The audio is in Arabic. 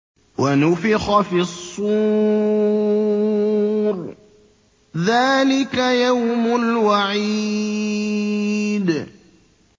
وَنُفِخَ فِي الصُّورِ ۚ ذَٰلِكَ يَوْمُ الْوَعِيدِ